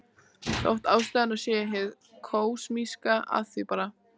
Þótt ástæðurnar séu hið kosmíska af því bara.